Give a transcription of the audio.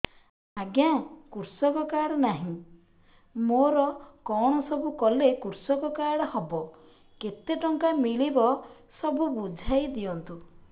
ଆଜ୍ଞା କୃଷକ କାର୍ଡ ନାହିଁ ମୋର କଣ ସବୁ କଲେ କୃଷକ କାର୍ଡ ହବ କେତେ ଟଙ୍କା ମିଳିବ ସବୁ ବୁଝାଇଦିଅନ୍ତୁ